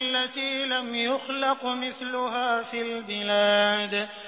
الَّتِي لَمْ يُخْلَقْ مِثْلُهَا فِي الْبِلَادِ